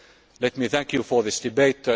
Members, let me thank you for this